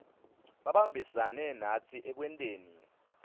babambisane natsi ekwenteni